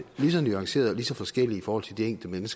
lige så nuanceret og lige så forskelligt i forhold til de enkelte